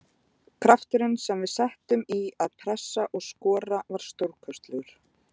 Krafturinn sem við settum í að pressa og skora var stórkostlegur.